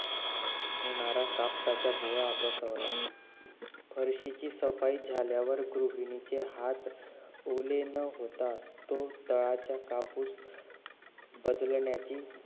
होणार कापसाचा गोळा बसवला फार्शीची सफाई झाल्यावर गृहिणीचे हात ओले न होता तो तळाचा कापूस बदलण्याची